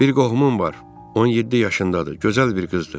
Bir qohumum var, 17 yaşındadır, gözəl bir qızdır.